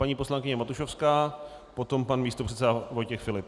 Paní poslankyně Matušovská, potom pan místopředseda Vojtěch Filip.